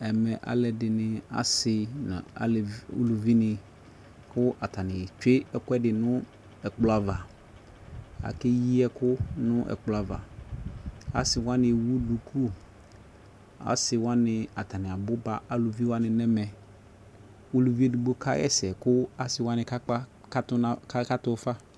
Ɛmɛɛ aluɛdini asii nu uluvini ku atani twee ɛkuɛdi nu ɛkplɔava ake yi ɛkuu nu ɛkplɔava Asiwani ewu duku asiwani atania buba aluviwani nɛmɛ Uluvi edigbo kaɣɛsɛ kasiwani kakatu fa